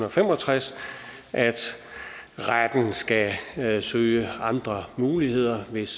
og fem og tres at retten skal søge andre muligheder hvis